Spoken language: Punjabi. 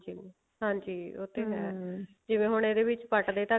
ਤੇ ਹਾਂਜੀ ਉਹ ਤੇ ਹੈ ਜਿਵੇਂ ਹੁਣ ਇਹਦੇ ਵਿੱਚ ਪੱਟਦੇ